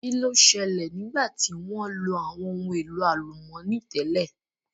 Kí ló ṣẹlẹ̀ nígbà tí wọ́n lo àwọn ohun èlò àlùmọ́nì tẹ́lẹ̀?